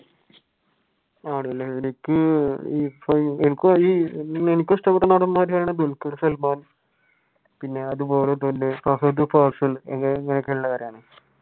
ആണല്ലെ എനിക്ക് എനിക്കും ഇഷ്ടപ്പെട്ട നടൻ തന്നെയാണ് ദുൽഖുർ സൽമാൻ. പിന്നെ അതുപോലെ തന്നെ ഫഹദ് ഫാസിൽ എന്നൊക്കെ ഉള്ളവരാണ്